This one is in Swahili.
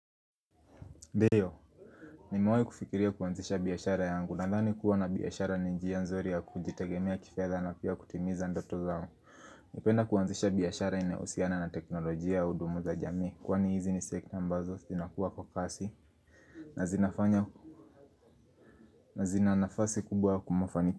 Ndiyo, nimewai kufikiria kuanzisha biashara yangu nadhani kuwa na biashara ni njia nzuri ya kujitegemea kifedha na pia kutimiza ndoto zangu napenda kuanzisha biyashara ina usiana na teknolojia audumu za jamii kwani hizi ni sekta ambazo, sinakuwa kwa kasi. Nazinafanya, nazina nafasi kubwa kumofaniki.